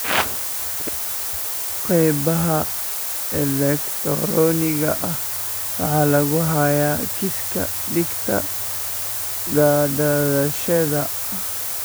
Qaybaha elegtarooniga ah waxa lagu hayaa kiiska dhegta gadaasheeda.